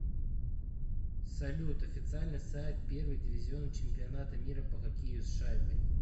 салют официальный сайт первый дивизион чемпионата мира по хоккею с шайбой